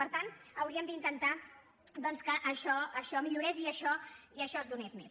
per tant hauríem d’intentar doncs que això millorés i això es donés més